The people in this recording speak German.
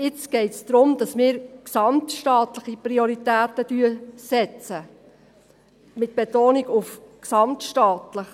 Jetzt geht es darum, dass wir gesamtstaatliche Prioritäten setzen, mit Betonung auf .